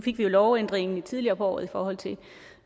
fik vi jo lovændringen tidligere på året i forhold til